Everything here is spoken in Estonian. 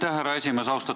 Aitäh, härra esimees!